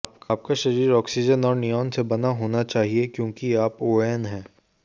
आपका शरीर ऑक्सीजन और नियॉन से बना होना चाहिए क्योंकि आप ओएन हैं